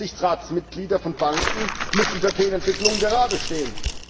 Aufsichtsratsmitglieder von Banken müssen für Fehlentwicklungen geradestehen